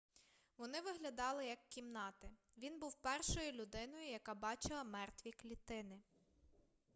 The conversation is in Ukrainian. вони виглядали як кімнати він був першою людиною яка бачила мертві клітини